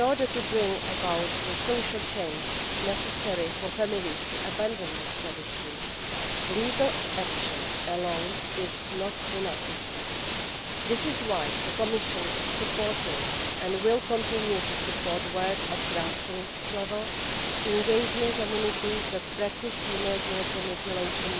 To bring about the social change necessary for families to abandon this tradition, legal action alone is not enough. This is why the Commission is supporting and will continue to support work at grassroots level, engaging communities that practise female genital mutilation